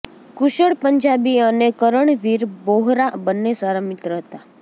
કુશળ પંજાબી અને કરણવીર બોહરા બંને સારા મિત્ર હતા